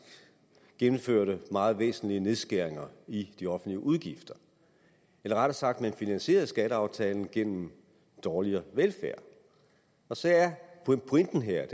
gennemførte meget væsentlige nedskæringer i de offentlige udgifter eller rettere sagt at man finansierede skatteaftalen gennem dårligere velfærd så er pointen her